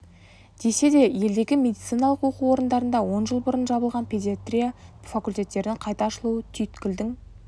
десе де елдегі медициналық оқу орындарында он жыл бұрын жабылған педиатрия факультеттерінің қайта ашылуы түйткілдің